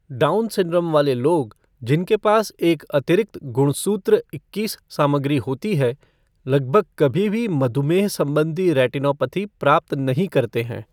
Down syndrome वाले लोग, जिनके पास एक अतिरिक्त गुणसूत्र इक्कीस सामग्री होती है, लगभग कभी भी मधुमेह संबंधी रेटिनोपैथी प्राप्त नहीं करते हैं।